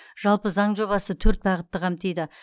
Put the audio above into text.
жалпы заң жобасы төрт бағытты қамтиды